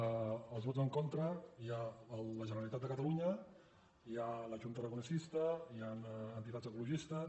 als vots en contra hi ha la generalitat de catalunya hi ha la chunta aragonesista hi han entitats ecologistes